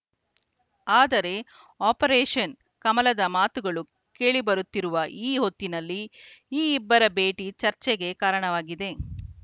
ಆದರೆ ಆಪರೇಷನ್‌ ಕಮಲದ ಮಾತುಗಳು ಕೇಳಿಬರುತ್ತಿರುವ ಈ ಹೊತ್ತಿನಲ್ಲಿ ಈ ಇಬ್ಬರ ಭೇಟಿ ಚರ್ಚೆಗೆ ಕಾರಣವಾಗಿದೆ